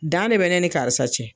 Dan de bɛ ne ni karisa cɛ.